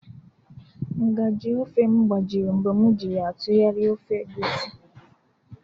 Nga/ji ofe m gbajiri mgbe m ji ya atụgharịa ofe Egusi